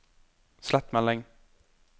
slett melding